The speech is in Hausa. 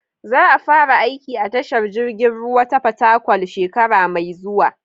Za a fara aiki a tashar jiragen ruwa ta Fatakwal shekara mai zuwa.